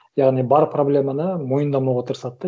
яғни бар проблеманы мойындамауға тырысады да